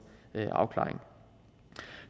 afklaring